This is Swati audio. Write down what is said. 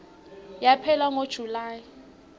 yaphela ngo july